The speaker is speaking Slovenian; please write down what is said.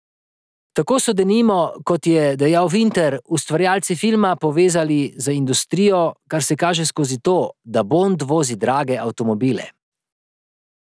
Tako so se denimo, kot je dejal Vinter, ustvarjalci filma povezali z industrijo, kar se kaže skozi to, da Bond vozi drage avtomobile.